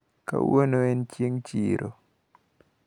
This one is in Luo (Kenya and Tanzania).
Kawuono en chieng` chiro.